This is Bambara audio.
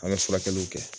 An bɛ furakɛliw kɛ